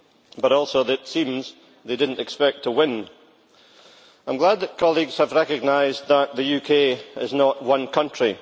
but also that it seems that they did not expect to win. I am glad that colleagues have recognised that the UK is not one country.